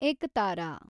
ಏಕತಾರಾ